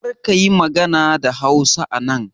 Karka yi magana da Hausa anan!